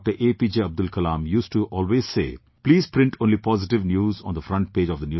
Abdul Kalam, used to always say, "Please print only positive news on the front page of the newspaper"